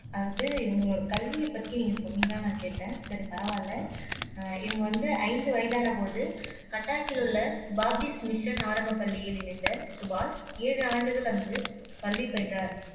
அதாவது இவங்களோட கல்வியை பத்தி நீங்க சொன்னீங்களான்னு நான் கேட்டேன் சரி பரவாயில்லை அஹ் இவங்க வந்து ஐந்து வயதான போது கட்டாக்கில் உள்ள டாபிஸ் மிஷன் ஆரம்பப் பள்ளியில் இணைந்த சுபாஷ் ஏழு ஆண்டுகள் அங்கு கல்வி பயின்றார்